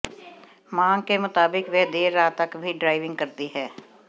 मांग के मुताबिक वह देर रात तक भी ड्राइविंग करती हैं